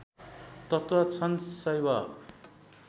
तत्त्व छन् शैव